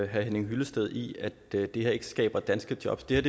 henning hyllested i at det her ikke skaber danske jobs det